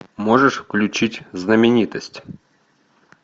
можешь включить знаменитость